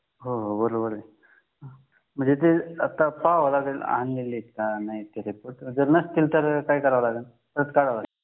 हो हो बरोबर आहे म्हणजे ते आता पहाव लागेल आणलेले का नाही आणि जर नसतील तर काय करावे लागेल